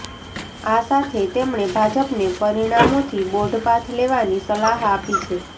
આ સાથે તેમણે ભાજપને પરિણામોથી બોધપાઠ લેવાની સલાહ આપી છે